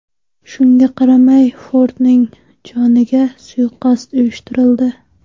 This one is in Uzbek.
Shunga qaramay Fordning joniga suiqasd uyushtirildi.